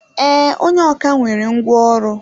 Ee, onye ọkà nwere ngwá ọrụ.